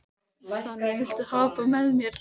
Sonný, viltu hoppa með mér?